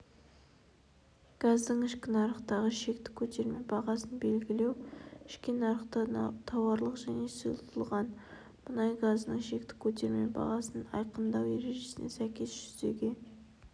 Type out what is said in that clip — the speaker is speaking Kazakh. газдың ішкі нарықтағы шекті көтерме бағасын белгілеу ішкі нарықта тауарлық және сұйытылған мұнай газының шекті көтерме бағасын айқындау ережесіне сәйкес жүзеге